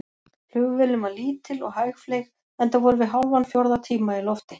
Flugvélin var lítil og hægfleyg, enda vorum við hálfan fjórða tíma í lofti.